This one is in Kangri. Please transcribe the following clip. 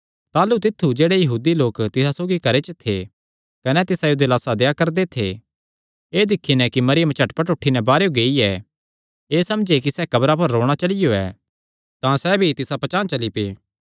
ताह़लू तित्थु जेह्ड़े यहूदी लोक तिसा सौगी घरे च थे कने तिसायो दिलासा देआ करदे थे एह़ दिक्खी नैं कि मरियम झटपट उठी नैं बाहरेयो गेई ऐ एह़ समझे कि सैह़ कब्रा पर रोणा चलियो ऐ तां सैह़ भी तिसा पचांह़ चली पै